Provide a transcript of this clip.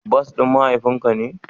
Bas din mahaifin ka ne?